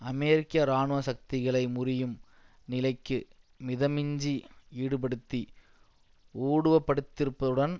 அமெரிக்க இராணுவ சக்திகளை முறியும் நிலைக்கு மிதமிஞ்சி ஈடுபடுத்தி ஊடுவபடுத்தியிருப்பதுடன்